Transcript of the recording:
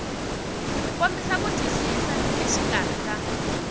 kombisa ku twisisa exikarhi ka